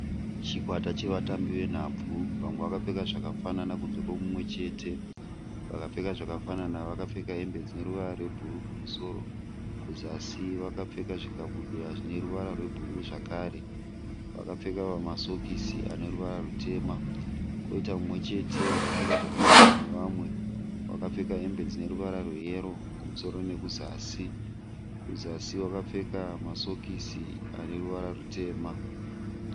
Chikwata chevatambi venhabvu. Vamwe vakapfeka zvakafanana kunze muchete. Vakapfeka zvakafanana vakapfeka hembe dzine ruvara rwebhuru kumusoro, kuzasi vakapfeka zvikabudura zvine ruvara rwebhuru zvakare. Vakapfeka masokisi ane ruvara rutema. Koita mumwe chete akapfeka zvakasiyana nevamwe. Akapfeka hembe dzine ruvara rweyero kumusoro nekuzasi. Kuzasi wakapfeka masokisi ane ruvara rutema.